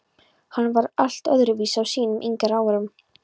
Hann var allt öðru vísi á sínum yngri árum.